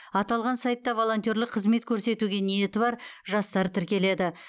аталған сайтта волонтерлік қызмет көрсетуге ниеті бар жастар тіркеледі